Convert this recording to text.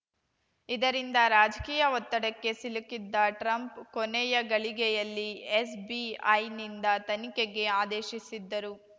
ಇದರಿಂದ ರಾಜಕೀಯ ಒತ್ತಡಕ್ಕೆ ಸಿಲುಕಿದ್ದ ಟ್ರಂಪ್‌ ಕೊನೆಯಗಳಿಗೆಯಲ್ಲಿ ಎಫ್‌ಬಿಐನಿಂದ ತನಿಖೆಗೆ ಆದೇಶಿಸಿದ್ದರು